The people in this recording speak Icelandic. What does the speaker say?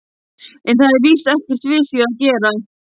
En það var víst ekkert við því að gera.